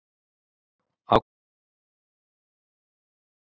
Af hverju hefurðu skipt svo oft um félag?